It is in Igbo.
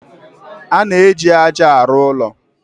A na-eji ájá arụ ụlọ.